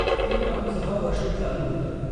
ते काम सहा वर्ष चालू होतं.